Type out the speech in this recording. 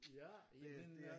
Ja min øh